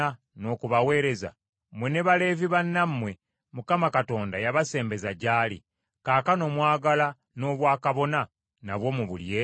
Mmwe ne Baleevi bannammwe Mukama Katonda yabasembeza gy’ali, kaakano mwagala n’obwakabona nabwo mubulye?